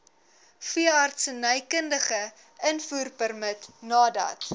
veeartsenykundige invoerpermit nadat